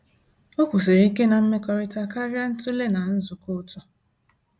O kwụsịrị ike na mmekọrịta karịa ntule na nzukọ otu